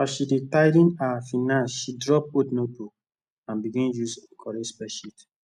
as she dey tidy her finance she drop old notebook and begin use correct spreadsheet